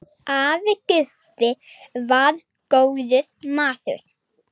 Afi Guffi var góður maður.